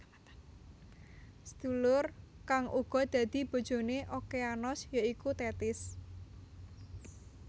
Sedulur kang uga dadi bojone Okeanos ya iku Tethis